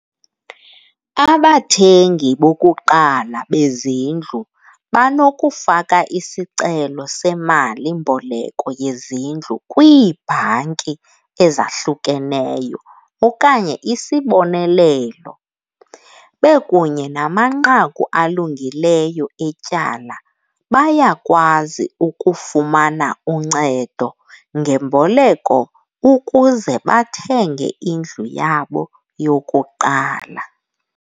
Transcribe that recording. Abathengi bokuqala bezindlu banokufaka isicelo semalimboleko yezindlu kwiibhanki ezahlukeneyo okanye isibonelelo. Bekunye namanqaku alungileyo etyala bayakwazi ukufumana uncedo ngemboleko ukuze bathenge indlu yabo yokuqala.